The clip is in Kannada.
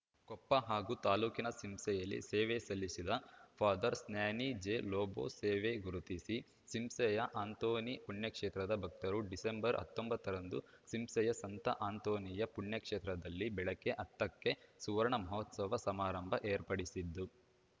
ಕೊಪ್ಪ ಹಾಗೂ ತಾಲೂಕಿನ ಸಿಂಸೆಯಲ್ಲಿ ಸೇವೆ ಸಲ್ಲಿಸಿದ ಫಾಧರ್ಸ್ ಸ್ಟ್ಯಾನಿ ಜೆ ಲೋಬೋ ಸೇವೆ ಗುರುತಿಸಿ ಸಿಂಸೆಯ ಅಂಥೋನಿ ಪುಣ್ಯಕ್ಷೇತ್ರದ ಭಕ್ತರು ಡಿಸೆಂಬರ್ ಹತ್ತೊಂಬತ್ತರಂದು ಸಿಂಸೆಯ ಸಂತ ಅಂತೋಣಿಯ ಪುಣ್ಯಕ್ಷೇತ್ರದಲ್ಲಿ ಬೆಳಗ್ಗೆ ಹತ್ತ ಕ್ಕೆ ಸುವರ್ಣ ಮಹೋತ್ಸವ ಸಮಾರಂಭ ಏರ್ಪಡಿಸಿದ್ದು